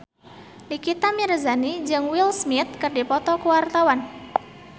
Nikita Mirzani jeung Will Smith keur dipoto ku wartawan